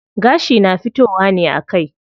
Gashi na fitowa ne a kai.